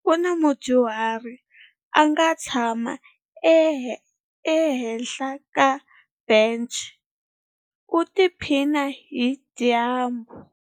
Ku na mudyuhari a nga tshama ehenhla ka bence u tiphina hi dyambu.